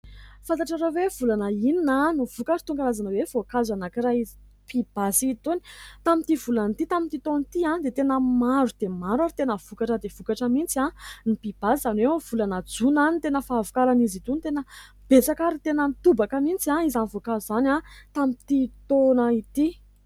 Fantatrareo hoe volana inona an, no vokatra itony karazana hoe voankazo anankiray pibasy itony tamin'ity volana ity tamin'ity taona ity an, dia tena maro dia maro ary tena vokatra dia vokatra mihitsy an ny mpibasy izany hoe amin'ny volana jona an, ny tena fahavokarany izy itony tena besaka ary tena nitobaka mihitsy an, izany voankazo izany an tamin'ity toana ity.